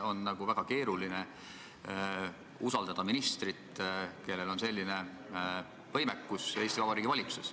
On väga keeruline usaldada ministrit, kellel on selline võimekus Eesti Vabariigi valitsuses.